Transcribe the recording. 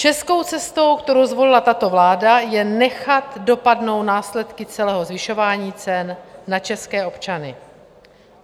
Českou cestou, kterou zvolila tato vláda, je nechat dopadnout následky celého zvyšování cen na české občany.